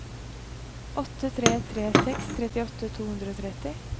åtte tre tre seks trettiåtte to hundre og tretti